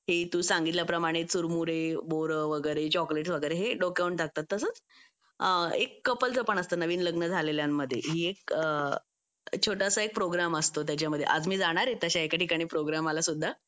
तू सांगितल्याप्रमाणे चुरमुरे बोर वगैरे चॉकलेट हे डोक्यावरून टाकतात तसेच एक कपल जपून असतं नवीन लग्न झालेल्यांमध्येही एक छोटासा एक प्रोग्राम असतो त्याच्यामध्ये आज मी जाणार आहे अशा एका प्रोग्रामला सुद्धा